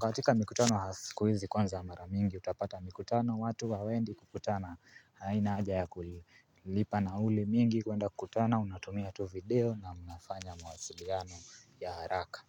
Katika mikutano ya siku hizi, kwanza mara mingi utapata mikutano. Watu hawaendi kukutana, haina aja ya kulipa nauli mingi. Kwenda kukutana, unatumia tu video na mnafanya mawaasiliano ya haraka.